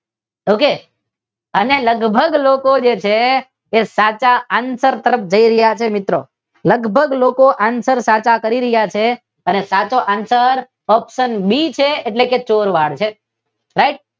અને લગભગ લોકો જે છે તે સાચા આન્સર તરફ જય રહ્યા છે મિત્રો. લગભગ લોકો સાચા આન્સર કરી રહ્યા છે અને સાચો આન્સર ઓપ્શન બી છે એટલે કે ચોરવાડ